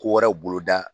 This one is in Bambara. Ko wɛrɛw boloda